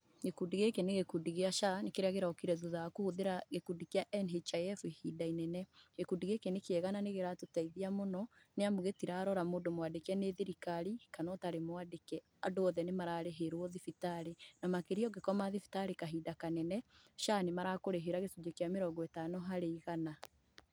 Gĩkũndi gĩkĩ nĩ gĩkundi gĩa SHA, kĩrĩa kĩrokire thutha wa kũhũthĩra gĩkundi kĩa NHIF ihinda inene. Gĩkundi gĩkĩ nĩ kĩega na nĩkĩratũteithia mũno, nĩamu gĩtirarora mũndũ mwandĩke nĩ thirikari kana ũtarĩ mwandĩke, andũ othe nĩmararĩhĩrwo thibitarĩ, na makĩria ũngĩkoma thibitarĩ kahinda kanene, SHA nĩmarakũrĩhĩra gĩcunjĩ kĩa mĩrongo ĩtano harĩ igana.